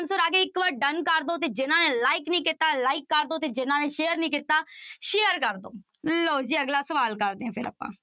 Answer ਆ ਗਿਆ ਇੱਕ ਵਾਰ done ਕਰ ਦਓ ਤੇ ਜਿਹਨਾਂ ਨੇ like ਨੀ ਕੀਤਾ like ਕਰ ਦਓ ਤੇ ਜਿਹਨਾਂ ਨੇ share ਨੀ ਕੀਤਾ share ਕਰ ਦਓ ਲਓ ਜੀ ਅਗਲਾ ਸਵਾਲ ਕਰਦੇ ਹਾਂ ਫਿਰ ਆਪਾਂ